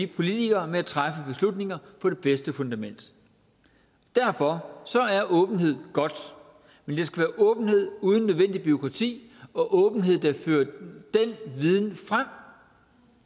politikere med at træffe beslutninger på det bedste fundament derfor er åbenhed godt men det skal være åbenhed uden unødvendigt bureaukrati og åbenhed der fører den viden frem